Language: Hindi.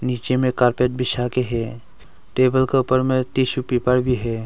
नीचे में कारपेट बिछा के है टेबल का ऊपर में टिशू पेपर भी है।